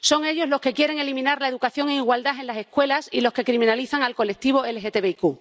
Son ellos los que quieren eliminar la educación en igualdad en las escuelas, y los que criminalizan al colectivo LGTBIQ.